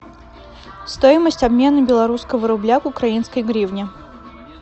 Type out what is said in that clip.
стоимость обмена белорусского рубля к украинской гривне